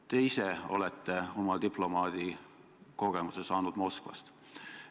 Te ise olete oma diplomaadikogemuse saanud Moskvast.